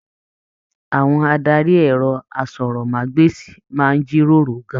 Àwọn adarí ẹrọ àsọ̀rọ̀mágbèsi máa n jíròrò gán-an.